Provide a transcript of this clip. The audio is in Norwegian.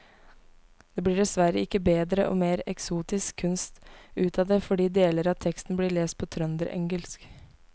Det blir dessverre ikke bedre og mer eksotisk kunst ut av det fordi deler av teksten blir lest på trønderengelsk.